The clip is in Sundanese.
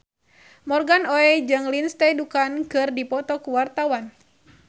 Morgan Oey jeung Lindsay Ducan keur dipoto ku wartawan